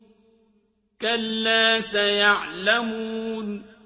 كَلَّا سَيَعْلَمُونَ